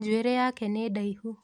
Njuĩrĩ yake nĩ ndaihu.